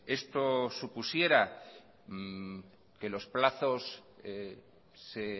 esto supusiera que los plazos se